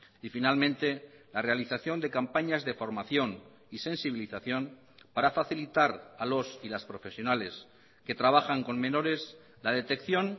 y finalmente la realización de campañas de formación y sensibilización para facilitar a los y las profesionales que trabajan con menores la detección